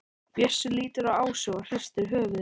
Bjössi lítur á Ásu og hristir höfuðið.